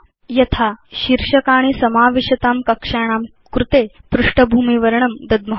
यथा शीर्षकाणि समाविशतां कक्षाणां कृते पृष्ठभूमिवर्णं दद्म